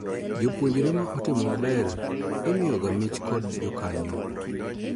Jopuonjre ma otimo maber imiyo ga mich kod jokanyo